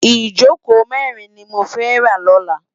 Ijókó mèrin ni mó fè rá lòlá